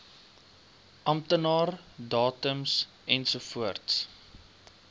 amptenaar datums ensovoorts